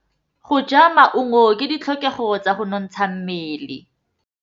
Go ja maungo ke ditlhokegô tsa go nontsha mmele.